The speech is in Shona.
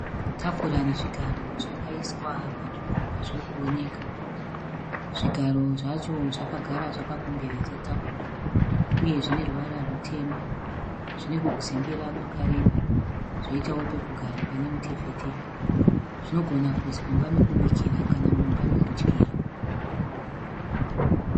Tafura nezvigaro zvakaiswa panzvimbo pazviri kuoneka . Zvigaro zvacho zvakagara zvakakomberedza tafura uye zvine ruvara rutema. Zvine kwe kuzembera kwakareba. Zvoitawo pekugara pane mutefetefe. Zvinogona kuiswa mumba mekubikira kana mumba yekudyira.